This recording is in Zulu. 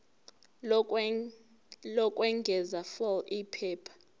lokwengeza fal iphepha